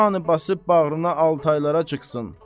Turanı basıb bağrına altaylara çıxsın.